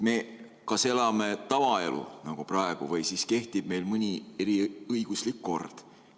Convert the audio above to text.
Me kas elame tavaelu nagu praegu või siis kehtib meil mõni eriõiguslik kord.